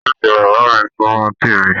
Ọ̀fiísí bàbá mi sunmọ témi.